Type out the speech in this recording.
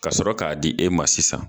Ka sɔrɔ k'a di e ma sisan.